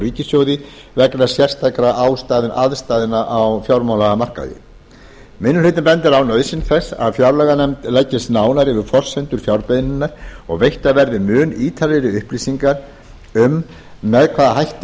ríkissjóði vegna sérstakra aðstæðna á fjármálamarkaði minni hlutinn bendir á nauðsyn þess að fjárlaganefnd leggist nánar yfir forsendur fjárbeiðninnar og veittar verði mun ítarlegri upplýsingar um með hvaða hætti